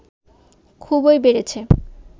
খুবই বেড়েছে